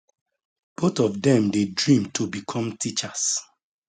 both of dem dey dream to become teachers